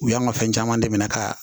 U y'an ka fɛn caman dɛmɛ ka